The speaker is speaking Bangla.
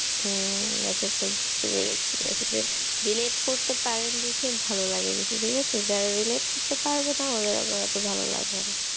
হম আচ্ছা আচ্ছা বুঝতে পেরেছি। আসলে relate করতে পারেন দেখে ভালো লাগে বেশি, ঠিক আছে। যারা relate করতে পারবেনা ওদের আবার অত ভালো লাগবে না।